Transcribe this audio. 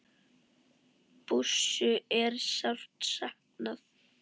Bússu er sárt saknað.